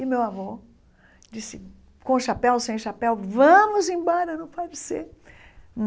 E meu avô disse, com chapéu ou sem chapéu, vamos embora, não pode ser.